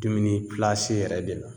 Dumuni yɛrɛ de la